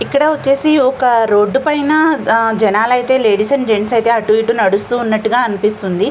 ఇక్కడ వచ్చేసి ఒక రోడ్డు పైన జనాలు అయితే లేడీస్ అండ్ జెంట్స్ అయితే అటు ఇటు నడుస్తూ ఉన్నట్టుగా అనిపిస్తుంది.